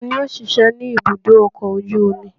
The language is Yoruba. Ta ni ó ń ṣiṣẹ́ ní ibùdó ọkọ̀ ojú omi?